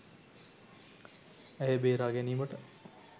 ඇය බේරා ගැනීමට